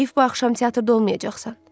Heyf, bu axşam teatrda olmayacaqsan.